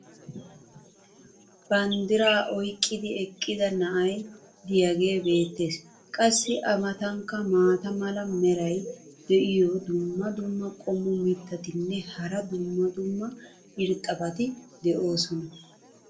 banddiraa oyqqidi eqqida na"ay diyaagee beetees. qassi a matankka maata mala meray diyo dumma dumma qommo mitattinne hara dumma dumma irxxabati de'oosona.